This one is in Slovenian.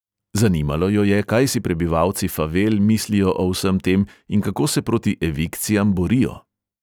Zanimalo jo je, kaj si prebivalci favel mislijo o vsem tem in kako se proti evikcijam borijo.